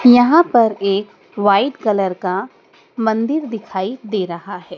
यहाँ पर एक वाइट कलर का मंदिर दिखाई दे रहा है।